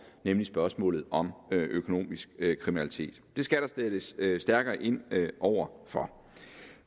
nemlig spørgsmålet om økonomisk kriminalitet det skal der sættes stærkere ind over for